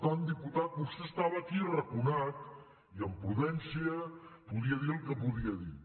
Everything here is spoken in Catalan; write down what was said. tant diputat vostè estava aquí arraconat i amb prudència podia dir el que podia dir